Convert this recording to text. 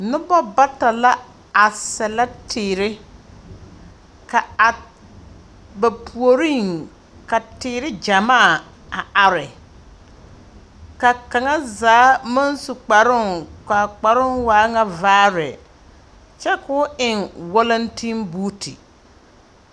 Noba bata la a sɛlɛ teer. Ka a, ba puoriŋ, ka teere gyamaa a are. Ka kaŋa zaa maŋ su kparoŋ, kaa kparo waa ŋa vaare. Kyɛ koo eŋ walantebuuti.